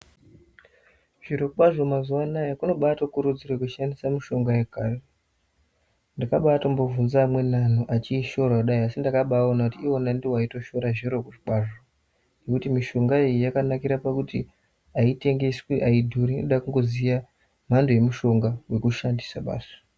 Zviro kwazvo mazuva anaya kunobatokurudzirwe kushandisa mushonga yekare. Ndakabatombo bvunza amweni antu achishora kudai asi ndakabaona kuti ndivo anotoshora zviro kwazvo. Ngekuti mishonga iyi yakanakira pakuti haitengeswi haidhuri inoda kungoziya mhando yemushonga vekushandisa basi.